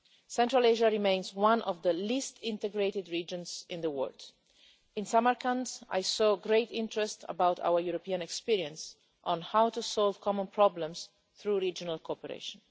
Central Asia remains one of the least integrated regions in the world. In Samarkand I saw great interest in our European experience on how to solve common problems through regional cooperation.